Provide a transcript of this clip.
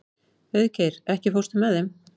Auðgeir, ekki fórstu með þeim?